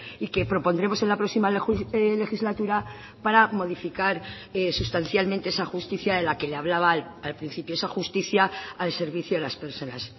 y que propondremos en la próxima legislatura para modificar sustancialmente esa justicia de la que le hablaba al principio esa justicia al servicio de las personas